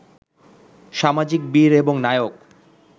সামাজিক বীর এবং নায়ক